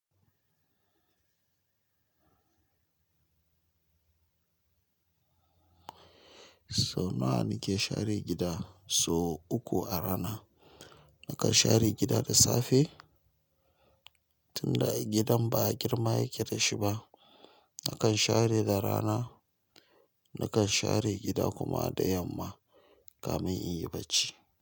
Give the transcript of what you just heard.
Sau nawa nike share gida? Sau uku a rana. Nakan share gida da safe, tunda gidan ba girma yake da shi ba. Nakan share da rana, nakan share gida kuma da yamma kamin in yi barci.